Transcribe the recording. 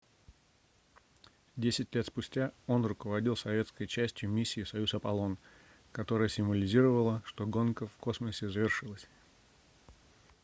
десять лет спустя он руководил советской частью миссии союз-аполлон которая символизировала что гонка в космосе завершилась